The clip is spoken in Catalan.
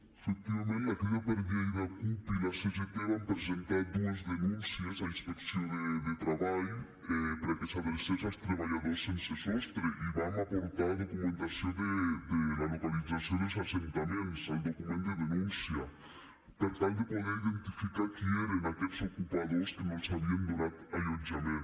efectivament la crida per lleida cup i la cgt vam presentar dues denúncies a inspecció de treball perquè s’adrecés als treballadors sense sostre i vam aportar documentació de la localització dels assentaments al document de denúncia per tal de poder identificar qui eren aquests ocupadors que no els havien donat allotjament